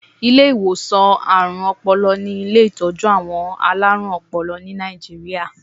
Ilé ìwòsàn àrùn-Ọpọlọ ni ilé ìtọ́jú àwọn alárùn-ọpọlọ ní Nàìjíríà.